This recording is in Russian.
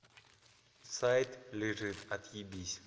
сайт лежит отъебись